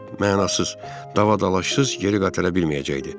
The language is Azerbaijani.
Mənasız davadalaşsız geri qaytara bilməyəcəkdi.